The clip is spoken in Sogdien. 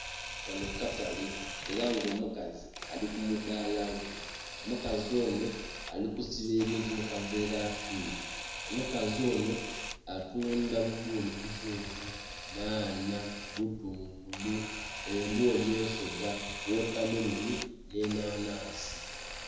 Kanho katale ela nga omukazi ali kumudaala gwe, omukazi onho ali kusiba ebintu mu kaveera akeeru, omukazi onho alikutudha bubbooli buzungu, nhanha, butungulu, embooli ensoga, wotameloni, nh'enhanhansi.